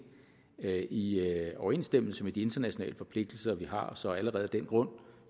er i overensstemmelse med de internationale forpligtelser vi har så allerede af den grund